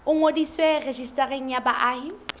o ngodiswe rejistareng ya baahi